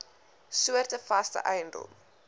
soorte vaste eiendom